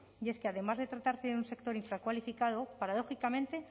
y es que además de tratar de un sector infracualificado paradójicamente